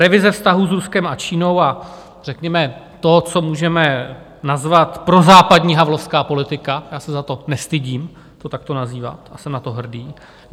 revize vztahů s Ruskem a Čínou a řekněme to, co můžeme nazvat prozápadní, havlovská, politika - já se za to nestydím to takto nazývat a jsem na to hrdý;